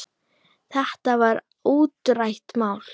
Þetta var útrætt mál.